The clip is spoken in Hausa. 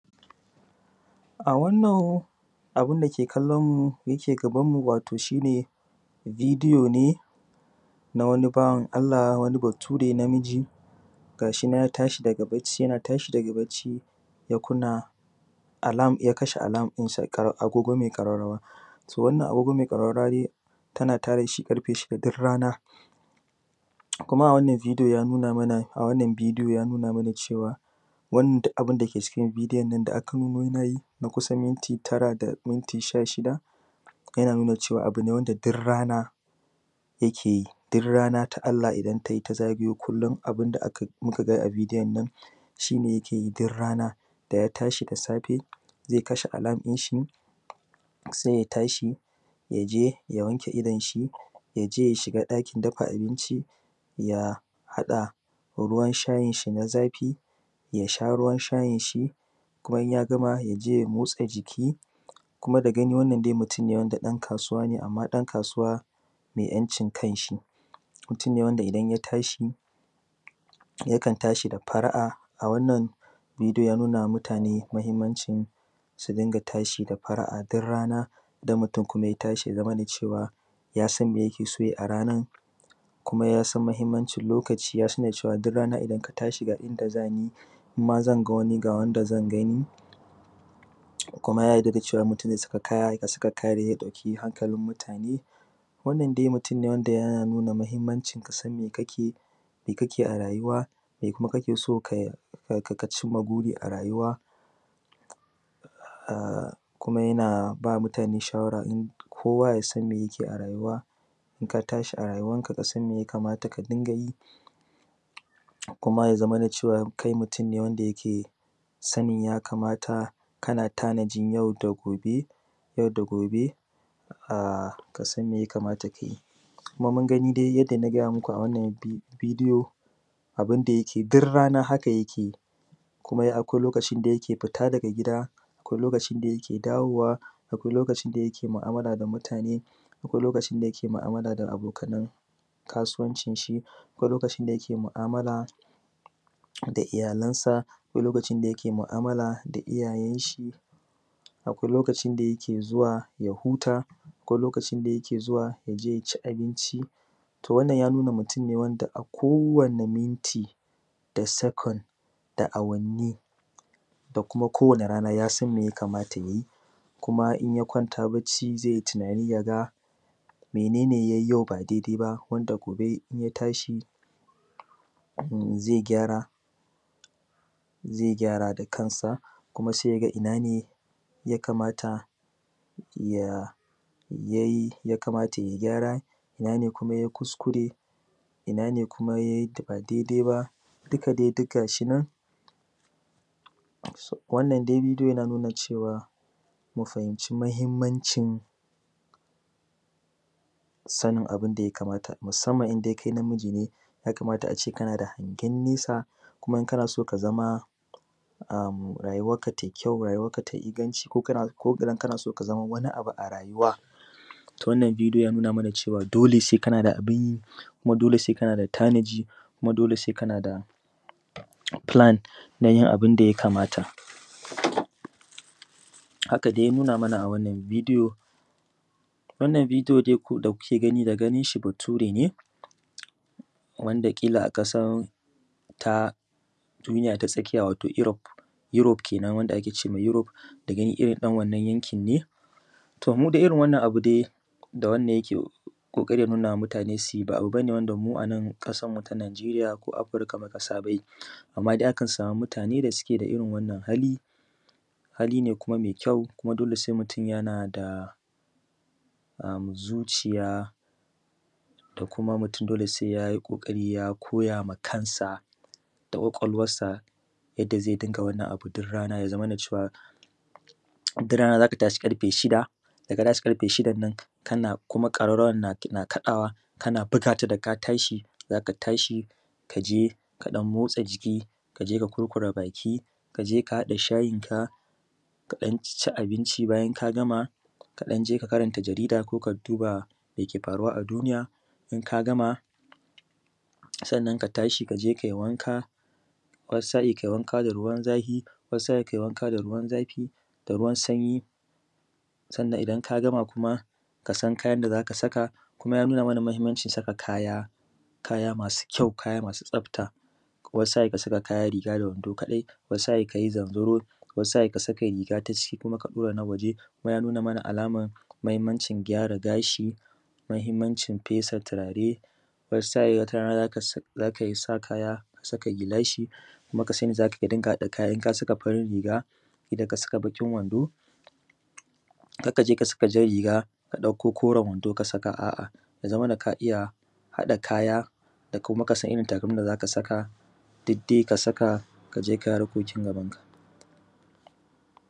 A wannan abun da kallonmu wato abin da ke gabanmu shi ne bidiyo ne na wani bawan Allah wani Bature na miji gashi nan ya tashi daga bacci yana tashi daga bacci ya kashe alam ɗinsa, agogo mai ƙararrawa to wannan a gogo mai ƙararrawa tana tada shi ƙarfe shida duk rana, a wannan bidiyo ya nuna mana cewa wannan duk abin da ke cikin bidiyon nan da aka nemu yanayi na kusan minti tara da minti shashida yana nuna cewa abu ne duk rana yake yi duk rana na Allah idan ta zagayo kullun abin da muka ga a bidiyon shi ne yake yi duk rana. Idan ya tashi daga bacci na biyu zai kashe alam ɗin shi sai ya tashi ya je ya wanke idon shi kuma ya je ya shiga ɗakin dafa abinci ya haɗa ruwan shayin shi na zafi, ya sha ruwan shayin shi kuma in ya gama, ya je ya motsa jiki kuma daga gani wannan mutun ɗan kasuwa ne amma ɗan kasuwa mai ‘yancin kan shi, mutum ne wanda idan ya tashi zai tashi da fara’a. A wannan bidiyo ya nuna wa mutane muhinmancin sun dinga tashi da fara’a dur rana idan mutum ya tashi ya zamana cewa ya san mai yake so ya yi a ranan kuma yasan muhinmancin lokaci kuma yasan duk in ya tashi da yanda za ni ko ga wanda zan gani kuma da yadda mutum ya saka kayan dake mutane. Wannan dai mutum ne yana nuna muhinmancin ka san me kake yi a rayuwa kuma me kake so ka cinma buri a rayuwa, kuma yana ba mutane shawara kowa ya san me yake yi a rayuwa, in ka tashi a rayuwanka kasan me ya kamata ka dinga yi kuma ya zamana cewa kai mutum ne wanda yake sanin ya kamata kana tanajin yau da gobe, ka san me ya kamata ka yi kuma mun gani dai yanda na gaya muku. A wannan bidiyo abin da yake dir rana haka yake kuma akwai lokacin da yake fita daga gida, akwai lokacin da yake dawowa, akwai lokacin da yake mu’amala da mutane, akwai lokacin da yake mu’amala da abokanan kasuwancin shi, akwai lokacin da yake mu’amala da iyalansa, akwai lokacin da yake mu’amala da iyayen shi, akwai lokacin da yake zuwa ya huta. Akwai lokacin da yake zuwa ya ci abinci, to wannan ya nuna mutum ne wanda a kowane minti da second da awanni da kuma ko wani rana ya san me ya kamata ya yi kuma in ya kwanta bacci zai yi tinani ya ga mene ne ya yi yau ba daidaiba wanda gobe in ya tashi ze gyara da kansa kuma sai ya ga ina ne ya kamata ya yi gyara, ina ne kuma ya yi kuskure, ina ne kuma ya yi ba daidai ba duka dai dug gashi nan wannan dai bidiyo yana nuna cewa mu fahimci muhinmancin sanin abun da ya kamata musanman in kai na miji ne, ya kamata a ce kana da hangen nesa kuma in kana so ka zama rayuwanka tai kyau. Rayuwanka tai inganci ko idan kana so ka zama wani abu a rayuwa, toh wannan bidiyo yanuna mana cewa dole sai kana da abin yi kuma dole sai kana da tanaji kuma dole sai kana da filan na yin abin da ya kamata. Haka dai ya nuna mana a wannan bidiyo, wannan bidiyo da kuke gani daga ganin shi Bature ne wanda ƙila a kasan duniya ta tsakiya wato Europe, Europe kenan wanda ake ce ma Europe da gani irin ɗan wannan yanki ne. To, mudai irin wannan abu dai da yake ƙoƙarin nuna ma mutane su yi ba ƙanƙanin abu ba ne wanda mu a nan ƙasanmu ta Nijeriya ko yankinmu na Afirika anma akan sama mutane wanda suke da irin wannan hali, hali ne kuma mai kyau kuma dole sai mutum yana da zuciya da kuma mutum sai ya yi ƙoƙari ya koya ma kansa da kwakwalwansa yanda zai dinga yin wannan abun duk rana. Ya zamana cewa duk rana za ka tashi ƙarfe shida idan ka tashi ƙarfe shidan nan kuma ƙararrawan na kaɗawa kana buga ta daka tashi za ka tashi ka je kaɗan motsa jiki, ka je ka kurkure baki, ka je ka haɗa shayinka ka ɗan ci abinci, bayan ka gama ka ɗan je ka karanta jarida ko ka duba meke faruwa a duniya, in ka gama sannan ka tashi ka je kai wanka wani sa’in kai wanka da ruwan zafi, wani sa’in kai wanka da ruwan sanyi. Sannan idan ka gama kuma ka san kayan da za ka saka, kuma ya nuna mahinmancin saka kaya masu kyau, kaya masu tsafta wani sa’in ka sa kaya riga da wando kaɗai, wani sa’in ka yi zanzarodi, wani sa’in ka saka riga ta ciki ka fita da na waje kuma ya nuna ma alaman mahinmancin gyara gashi. Mahinmancin fesa tirare, wani sa’in wata rana ka sa kaya ka saka gilashi kuma ka sani za ka iya haɗa kaya idan ka saka farin riga, ƙila ka saka baƙin wando kar ka je ka saka jan riga ka ɗauko koren wando, ka saka a’a ya zamana ka iya ka iya haɗaka kaya kuma ka san irin takalmin wanda za ka saka did dai ka saka ka je kai harkokin gabanka.